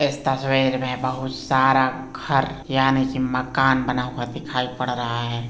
इस तस्वीर में बहुत सारा घर यानी की मकान बना हुआ दिखाई पड़ रहा है।